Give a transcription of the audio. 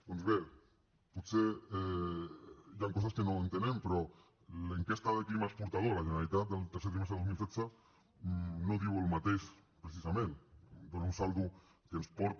doncs bé potser hi han coses que no entenem però l’enquesta sobre el clima exportador a la generalitat del tercer trimestre del dos mil setze no diu el mateix precisament dóna un saldo que ens porta